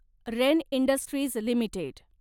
rain Industries limited